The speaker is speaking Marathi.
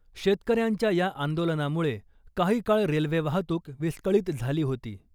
शेतकऱ्यांच्या या आंदोलनामुळे काही काळ रेल्वे वाहतूक विस्कळीत झाली होती .